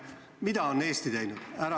Mida on Eesti teinud?